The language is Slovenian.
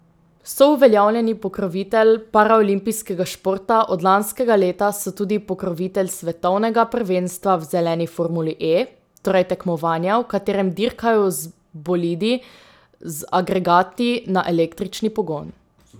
So uveljavljeni pokrovitelj paraolimpijskega športa, od lanskega leta so tudi pokrovitelj svetovnega prvenstva v zeleni formuli E, torej tekmovanja, v katerem dirkajo z bolidi z agregati na električni pogon.